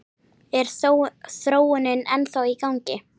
Er þróunin ennþá í gangi?